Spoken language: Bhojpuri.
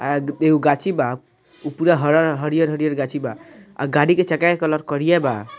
आ एगो गाछि बा । उ पुरा हरा हरियर-हरियर गाछि बा । आ गाड़ी के चक्का के कलर करिया बा ।